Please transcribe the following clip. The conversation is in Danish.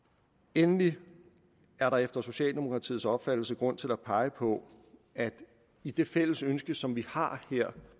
endelig er der efter socialdemokratiets opfattelse grund til at pege på at i det fælles ønske som vi har her